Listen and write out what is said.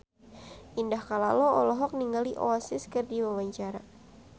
Indah Kalalo olohok ningali Oasis keur diwawancara